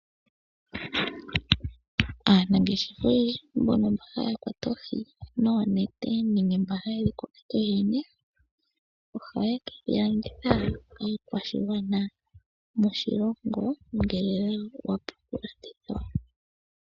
Aanangeshefa oyendji mbono mba haya kwata oohi noonete nenge mba haye dhi kwata yoyene, ohaya ke dhi landitha komukwashigwana moshilongo ngele wa pumbwa oohi dhika.